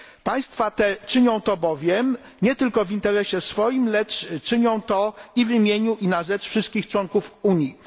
Państwa te czynią to bowiem nie tylko w interesie swoim, lecz i w imieniu i na rzecz wszystkich członków Unii.